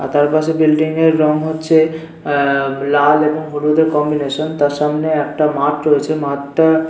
আর তার পাশে বিল্ডিং -এর রং হচ্ছে আহ লাল এবং হলুদের কম্বিনেশন তার সামনে একটা মাঠ রয়েছে মাঠটা--